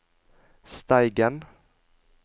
Steigen